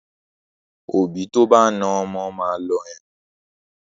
Òbí tó bá na ọmọ máa lọ ẹ̀wọ̀n.